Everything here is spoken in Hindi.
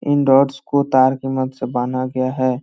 इन डॉटस को तार के मदद से बांधा गया है।